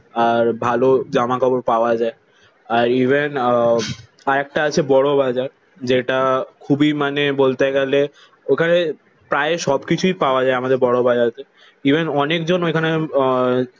আর ভালো জামা কাপড় পাওয়া যায়। আর ইভেন আহ আর একটা আছে বড়বাজার যেটা খুবই মানে বলতে গেলে ওখানে প্রায় সব কিছুই পাওয়া যায় আমাদের বড়বাজার। ইভেন অনেকজন এইখানে আহ